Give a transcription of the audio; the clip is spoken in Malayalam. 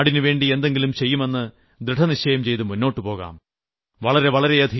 എന്നിട്ട് നാടിന് വേണ്ടി എന്തെങ്കിലും ചെയ്യുമെന്ന് ദൃഡനിശ്ചയം ചെയ്ത് മുന്നോട്ട് പോകാം